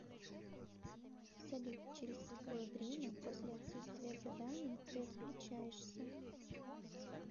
салют через какое время после отсутствия заданий ты отключаешься